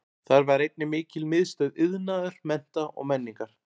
Þar var einnig mikil miðstöð iðnaðar, mennta og menningar.